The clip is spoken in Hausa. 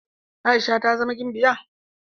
Aisha ta zama gimbiya.